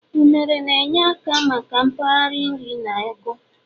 unere na-enye aka maka mgbari nri na ago